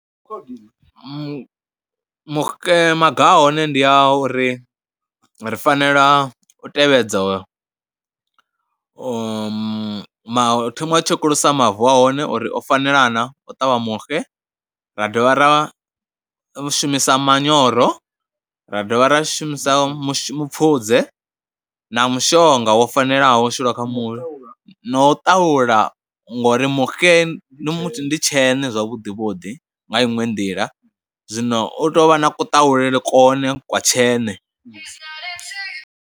Mu muxe maga a hone ndi a uri ri fanela u tevhedza ma hu fanela u tshekulusa mavu a hone uri o fanela na u ṱavha muxe, ra dovha ra shumisa manyoro ra dovha ra shumisa mushumo, mupfudze na mushonga wo fanelaho u shulwa kha muxe na u ṱahula ngori muxe tsheṋe zwavhuḓi vhuḓi nga inwe nḓila, zwino u tou vha na ku ṱahulela kwone kwa tsheṋe.